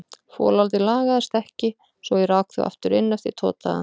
Folaldið lagaðist ekki svo ég rak þau aftur inn eftir tvo daga.